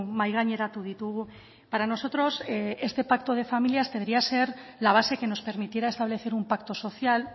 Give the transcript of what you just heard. mahai gaineratu ditugu para nosotros este pacto de familias debería ser la base que nos permitiera establecer un pacto social